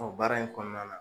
baara in kɔɔna na